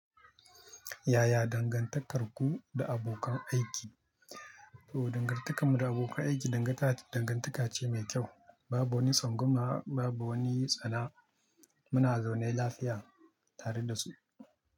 Yaya dangantarku da abokan aiki? Toh, dangantakarmu da abokan aiki dangantaka ce mai kyau. Babu wani tsangwama, babu wani tsana. Muna zaune lafiya tare da su.